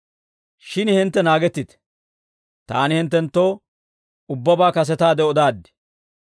Shin hintte naagettite; taani hinttenttoo ubbabaa kasetaade odaaddi.